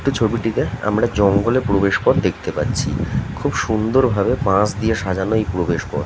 এই ছবিটিতে আমরা জঙ্গলের প্রবেশ পথ দেখতে পাচ্ছি খুব সুন্দর ভাবে সাজানো এই প্রবেশ পথ।